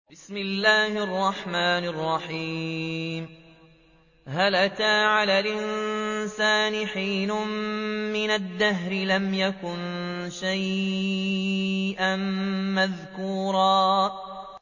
هَلْ أَتَىٰ عَلَى الْإِنسَانِ حِينٌ مِّنَ الدَّهْرِ لَمْ يَكُن شَيْئًا مَّذْكُورًا